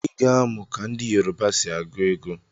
Iga amụ ka ndi yoruba si agu ego!!